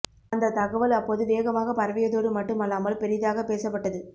அந்த தகவல் அப்போது வேகமாக பரவியதோடு மட்டும் அல்லாமல் பெரிதாக பேசப்பட்டது